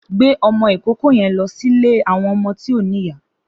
Gbé ọmọ ikóòkò yèn lọ silé awọn ọmọ ti ó nìyá